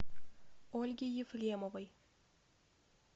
ольге ефремовой